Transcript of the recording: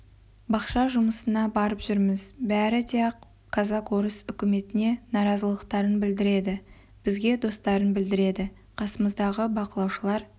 бақша жұмысына барып жүрміз бәрі де ақ казак-орыс үкіметіне наразылықтарын білдіреді бізге достарын білдіреді қасымыздағы бақылаушылар